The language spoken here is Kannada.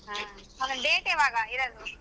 ಹ್ಮ್ ಆಮೇಲ್ date ಯಾವಾಗ ಇರೋದು?